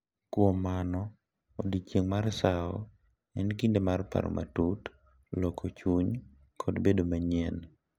Kuom mano, Odiechieng’ mar sawo en kinde mar paro matut, loko chunywa, kod bedo manyien.